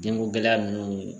Den ko gɛlɛya nunnu